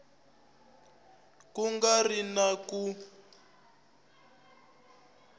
ku nga ri na ku